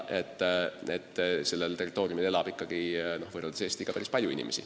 Aga sellel territooriumil elab ikkagi võrreldes Eestiga päris palju inimesi.